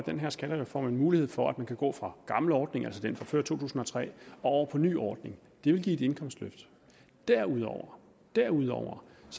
den her skattereform en mulighed for at man kan gå fra gammel ordning altså den fra før to tusind og tre og over på ny ordning det vil give et indkomstløft derudover derudover